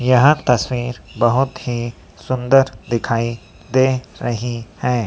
यह तस्वीर बहुत ही सुंदर दिखाई दे रही है।